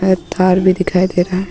तार भी दिखाई दे रहा हे.